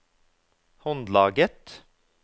håndlaget